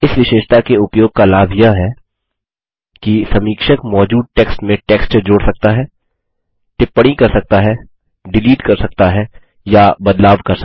इस विशेषता के उपयोग का लाभ यह है कि समीक्षक मौजूद टेक्स्ट में टेक्स्ट जोड़ सकता है टिप्पणी कर सकता हैडिलीट कर सकता है या बदलाव कर सकता है